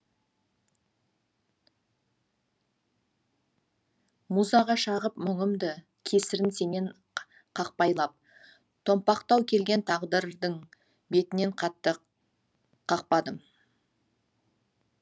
музаға шағып мұңымды кесірін сенен қақпайлап томпақтау келген тағдырдың бетінен қатты қақпадым